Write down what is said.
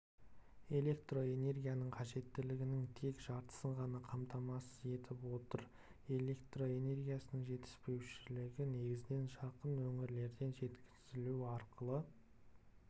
электроэнергия қажеттілігінің тек жартысын ғана қамтамасыз етіп отыр электроэнергиясының жетіспеушілігі негізінен жақын өңірлерден жеткізілу арқылы